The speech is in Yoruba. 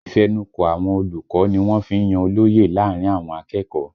Ìfẹnukò àwọn olùkọ́ ni wọ́n fí ń yan olóye láàrin àwọn akẹ́kọ̀ọ́